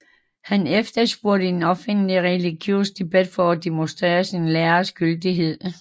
Han efterspurgte en offentlig religiøs debat for at demonstrere sin læres gyldighed